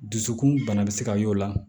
Dusukun bana bɛ se ka y'o la